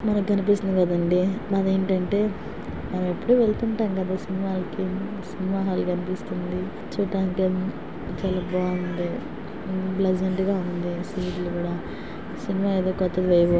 మనకు కనిపిస్తుంది కదా అండి. అదేంటంటే మనం ఎప్పుడు వెళ్తుంటాం కదా సినిమాలకు సినిమా హాల్ కనిపిస్తోంది. చూడ్డానికి ఎన్ చాలా బాగుంది. ఊ ప్లసెంట్ గా ఉంది.సీట్ లు కూడా సినిమా ఏదో--